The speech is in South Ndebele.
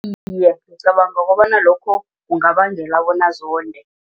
Iye, ngicabanga bona lokho kungabangele bona zonde.